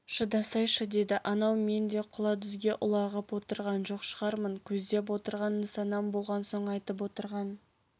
шыдасайшы деді анау мен де құла-дүзге ұлағып отырған жоқ шығармын көздеп отырған нысанам болған соң айтып отырған